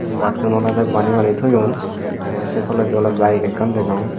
bassun olodey bani bani toyon tey sey toledi oley baek ekkan degong.